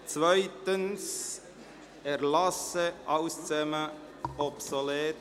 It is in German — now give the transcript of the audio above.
Auch die Erlassänderungen sind obsolet.